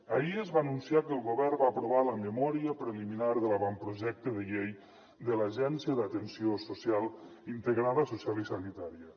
ahir es va anunciar que el govern va aprovar la memòria preliminar de l’avantprojecte de llei de l’agència d’atenció social integrada social i sanitària